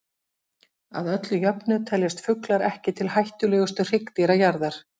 Að öllu jöfnu teljast fuglar ekki til hættulegustu hryggdýra jarðar.